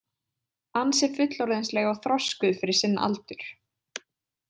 Ansi fullorðinsleg og þroskuð fyrir sinn aldur.